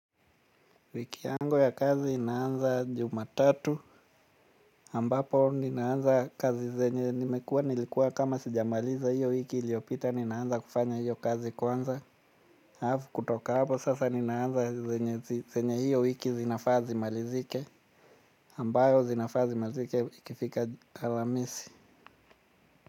Wiki yangu ya kazi inaanza juma tatu ambapo ninaanza kazi zenye nimekuwa nilikuwa kama sijamaliza hiyo wiki iliopita ninaanza kufanya hiyo kazi kwanza alafu kutoka hapo sasa ninaanza zenye zenye hiyo wiki zinafaa zimalizike ambayo zinafaa zimalizike ikifika alamisi.